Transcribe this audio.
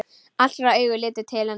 Allra augu litu til hennar.